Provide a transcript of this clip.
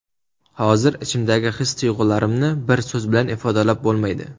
Hozir ichimdagi his-tuyg‘ularimni bir so‘z bilan ifodalab bo‘lmaydi.